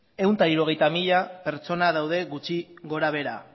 ehun eta hirurogei mila pertsona daude gutxi gorabehera